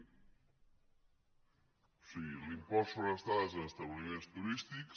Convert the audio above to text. o sigui l’impost sobre les estades en establiments turístics